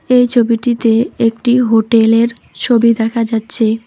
এই ছবিটিতে একটি হোটেলের ছবি দেখা যাচ্ছে।